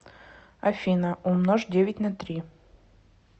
афина умножь девять на три